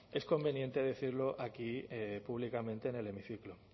es conveniente decirlo aquí públicamente en el hemiciclo